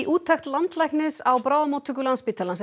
úttekt landlæknis á bráðamóttöku Landspítalans